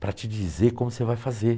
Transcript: Para te dizer como você vai fazer.